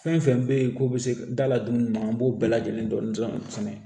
Fɛn fɛn bɛ ye k'o bɛ se da la dumuni ma an b'o bɛɛ lajɛlen dɔn fɛnɛ